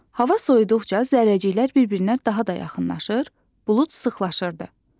Hava soyuduqca zərrəciklər bir-birinə daha da yaxınlaşır, bulud sıxlaşırdı.